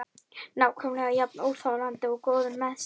Nákvæmlega jafn óþolandi og góður með sig.